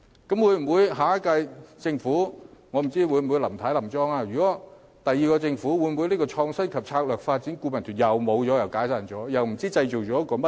到了下屆政府，我不知道林太會否連任，但如果是新的政府上場，這個創新及策略發展顧問團便要解散，然後不知道又會成立些甚麼。